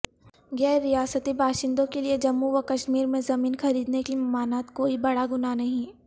غیریاستی باشندوں کیلئے جموں وکشمیرمیں زمین خریدنے کی ممانعت کوئی بڑا گناہ نہیں